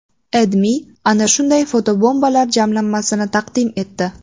AdMe ana shunday fotobombalar jamlanmasini taqdim etdi .